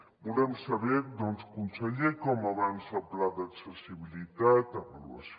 volem saber doncs conseller com avança el pla d’accessibilitat avaluació